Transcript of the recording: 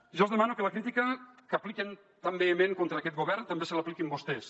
jo els demano que la crítica que apliquen tan vehement contra aquest govern també se l’apliquin vostès